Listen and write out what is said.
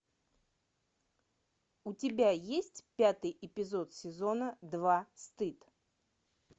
у тебя есть пятый эпизод сезона два стыд